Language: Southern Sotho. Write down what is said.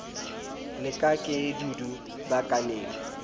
la ka ke dudu bukaneng